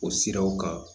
O siraw kan